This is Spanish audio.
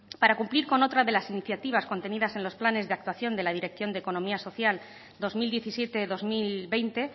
para cumplir con otra de las iniciativas contenidas en los planes de actuación de la dirección de economía social dos mil diecisiete dos mil veinte